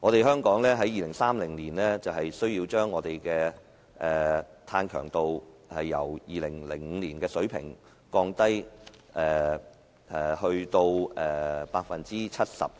香港需要在2030年將碳強度由2005年的水平降低 70%。